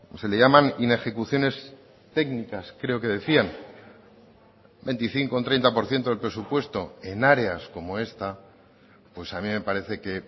se le llaman inejecuciones técnicas creo que decían veinticinco un treinta por ciento del presupuesto en áreas como esta pues a mí me parece que